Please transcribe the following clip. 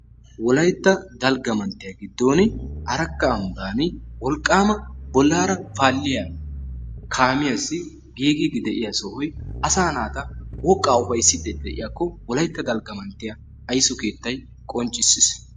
Wolaytta dalgga manttiyaa giddooni Arakka ambbaani wolqqaama bollaara paalliyaa kaamiyaassi giigiddi de'iyaa sohoy asaa naata woqqaa ufayissiiddi diyaakko wolaytta dalgga mantiyaa ayiso keettay qonccissis.